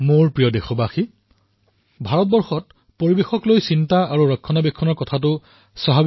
মোৰ মৰমৰ দেশবাসীসকল ভাৰত পৰিবেশৰ প্ৰতি যত্ন আৰু চিন্তা অৰ্থাৎ শুশ্ৰূষাৰ চিন্তা স্বাভাৱিক